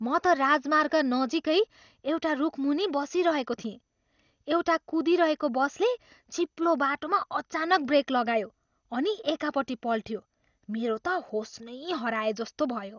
म त राजमार्ग नजिकै एउटा रुखमुनि बसिरहेको थिएँ, एउटा कुदिरहेको बसले चिप्लो बाटोमा अचानक ब्रेक लगायो अनि एकापट्टि पल्टियो। मेरो त होस नै हराएजस्तो भयो।